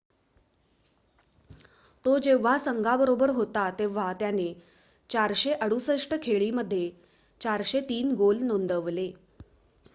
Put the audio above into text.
तो जेव्हा संघाबरोबर होता तेव्हा त्याने 468 खेळी मध्ये 403 गोल नोंदवले